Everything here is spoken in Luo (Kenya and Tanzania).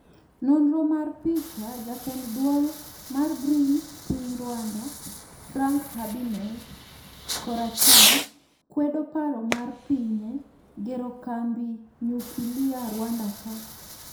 Nonro mar picha, jatend duol mar Green piny Rwanda, Frank Habinez (koracham) kwedo paro mar pinye gero kambi nyukilia Rwanda ka.